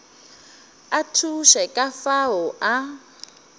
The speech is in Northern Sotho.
a thuše ka fao a